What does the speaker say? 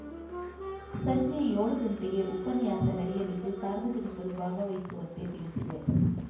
ಸಂಜೆ ಏಳು ಗಂಟೆಗೆ ಉಪನ್ಯಾಸ ನಡೆಯಲಿದ್ದು ಸಾರ್ವಜನಿಕರು ಭಾಗವಹಿಸುವಂತೆ ತಿಳಿಸಿದೆ